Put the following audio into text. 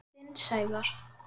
Þinn, Sævar.